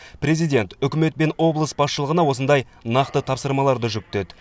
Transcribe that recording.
президент үкімет пен облыс басшылығына осындай нақты тапсырмаларды жүктеді